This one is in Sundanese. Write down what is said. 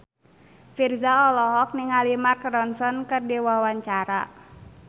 Virzha olohok ningali Mark Ronson keur diwawancara